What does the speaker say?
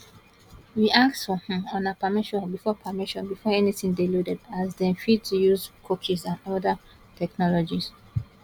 we ask for um una permission before permission before anytin dey loaded as dem fit dey use cookies and oda um technologies